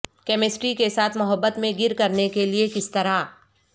chemistry کے ساتھ محبت میں گر کرنے کے لئے کس طرح